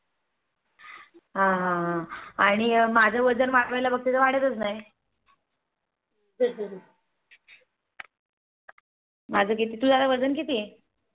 अं अं आणि माझं वजन वाढवायचं बघते तर वाढचतच नाही. माझ किती तुझं वजन किती आहे